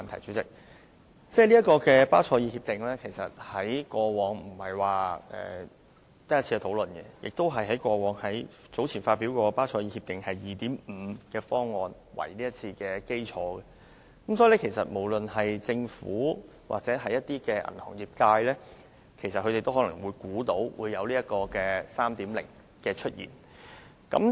其實，巴塞爾協定以往並非只討論了一次，而有關的討論是以早前發表的《巴塞爾協定二點五》方案為基礎的，所以，不論政府或銀行業界都可能猜到有《巴塞爾協定三》的出現。